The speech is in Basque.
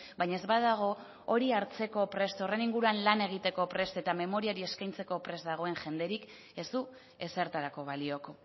baina ez badago hori hartzeko prest horren inguruan lan egiteko prest eta memoriari eskaintzeko prest dagoen jenderik ez du ezertarako balioko